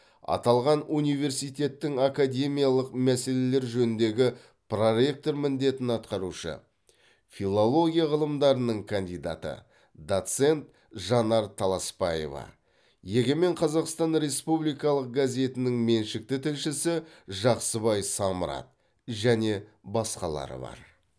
аталған университеттің академиялық мәселелер жөніндегі проректор міндетін атқарушы филология ғылымдарының кандидаты доцент жанар таласпаева егемен қазақстан республикалық газетінің меншікті тілшісі жақсыбай самрат және басқалары бар